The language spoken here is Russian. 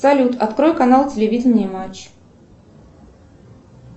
салют открой канал телевидения матч